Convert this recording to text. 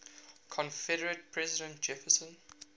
confederate president jefferson